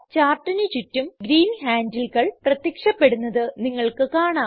ചാർട്ടിന് ചുറ്റും ഗ്രീൻ handleകൾ പ്രത്യക്ഷപ്പെടുന്നത് നിങ്ങൾക്ക് കാണാം